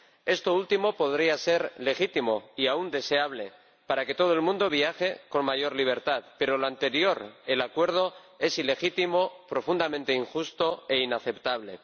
Esto último podría ser legítimo y aun deseable para que todo el mundo viaje con mayor libertad, pero lo anterior, el acuerdo, es ilegítimo, profundamente injusto e inaceptable.